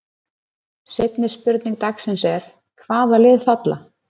Seinni spurning dagsins er: Hvaða lið falla?